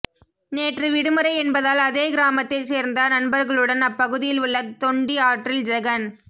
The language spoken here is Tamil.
நேற்று விடுமுறை என்பதால் அதே கிராமத்தை சேர்ந்த நண்பர்களுடன் அப்பகுதியில் உள்ள தொண்டி ஆற்றில் ஜெகன்